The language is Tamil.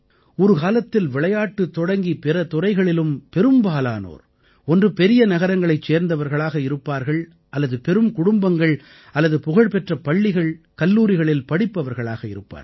ஒரு காலத்தில் விளையாட்டு தொடங்கி பிற துறைகளிலும் பெரும்பாலானோர் ஒன்று பெரிய நகரங்களைச் சேர்ந்தவர்களாக இருப்பார்கள் அல்லது பெரும் குடும்பங்கள் அல்லது புகழ்பெற்ற பள்ளிகள்கல்லூரிகளில் படிப்பவர்களாக இருப்பார்கள்